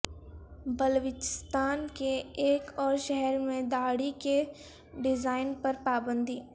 بلوچستان کے ایک اور شہر میں داڑھی کے ڈیزائن پر پابندی